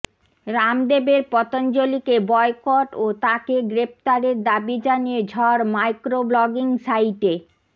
রামদেবের পতঞ্জলিকে বয়কট ও তাঁকে গ্রেফতারের দাবি জানিয়ে ঝড় মাইক্রো ব্লগিং সাইটে